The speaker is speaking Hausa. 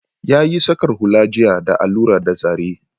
Ya yi saƙar hula jiya da allura da zare